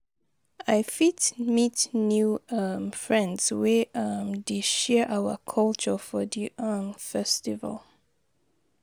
I fit meet new um friends wey um dey share our culture for di um festival.